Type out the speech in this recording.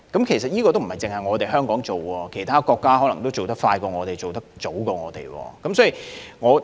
其實，這不僅是香港的做法，其他國家可能做得比我們更快更早。